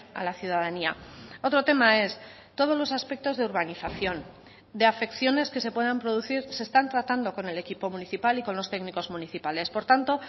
a la ciudadanía otro tema es todos los aspectos de urbanización de afecciones que se puedan producir se están tratando con el equipo municipal y con los técnicos municipales por tanto